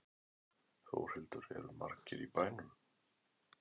Þórhildur, eru margir í bænum?